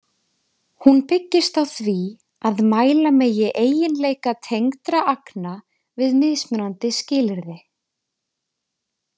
Hún byggist á því að mæla megi eiginleika tengdra agna við mismunandi skilyrði.